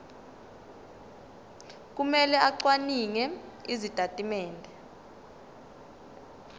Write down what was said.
kumele acwaninge izitatimende